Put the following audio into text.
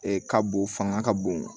ka bon fanga ka bon